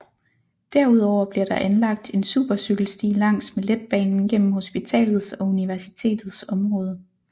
Derudover bliver der anlagt en supercykelsti langs med letbanen gennem hospitalets og universitetets område